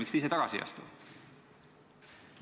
Miks te ise tagasi ei astu?